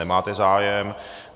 Nemáte zájem.